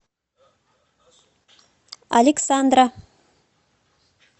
александра